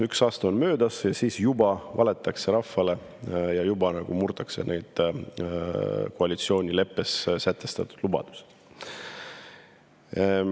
Üks aasta on möödas, ja juba, et rahvale on valetatud, juba murtakse neid koalitsioonileppes sätestatud lubadusi.